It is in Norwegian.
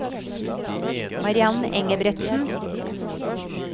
Mariann Engebretsen